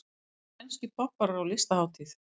Spænskir popparar á listahátíð